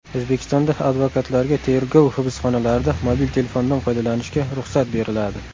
O‘zbekistonda advokatlarga tergov hibsxonalarida mobil telefondan foydalanishga ruxsat beriladi.